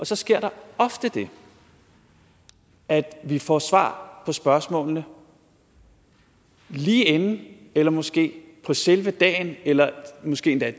så sker der ofte det at vi får svar på spørgsmålene lige inden eller måske på selve dagen eller måske endda